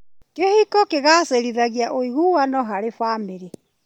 Kĩhiko kĩgacĩrithagia ũiguano harĩ bamĩrĩ.